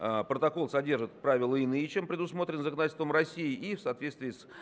протокол содержит правила иные чем предусмотрен законодательством россии и в соответствии с